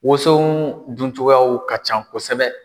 Woso dun cogoyaw ka ca kosɛbɛ.